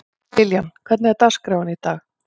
Liljan, hvernig er dagskráin í dag?